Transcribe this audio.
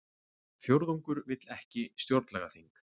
Fjórðungur vill ekki stjórnlagaþing